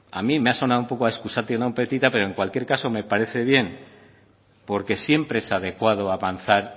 a mí me ha sonado un poco a excusatio non petita pero en cualquier caso me parece bien porque siempre es adecuado avanzar